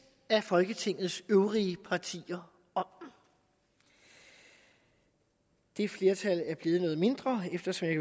af folketingets øvrige partier om det det flertal er blevet noget mindre eftersom jeg